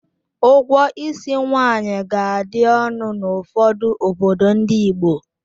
Ụgwọ ísí nwaanyị ga-adị ọnụ n'ụfọdụ obodo ndị Igbo.